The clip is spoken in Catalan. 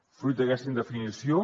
fruit d’aquesta indefinició